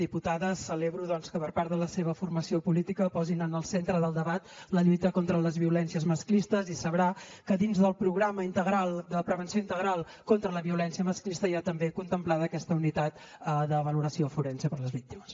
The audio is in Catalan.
diputada celebro que doncs per part de la seva formació política posin en el centre del debat la lluita contra les violències masclistes i sabrà que dins del programa integral de prevenció integral contra la violència masclista hi ha també contemplada aquesta unitat de valoració forense per a les víctimes